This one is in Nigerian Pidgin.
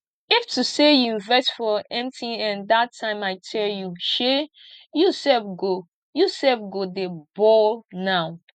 if to say you invest for mtn dat time i tell you shey you sef go you sef go dey ball now